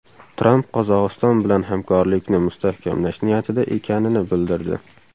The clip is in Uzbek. Tramp Qozog‘iston bilan hamkorlikni mustahkamlash niyatida ekanini bildirdi.